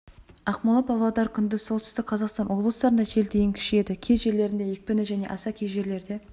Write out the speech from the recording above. ақмола павлодар күндіз солтүстік қазақстан облыстарында жел дейін күшейеді кей жерлерінде екпіні және аса кей жерлерде